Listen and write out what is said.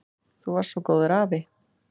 Þú varst svo góður afi.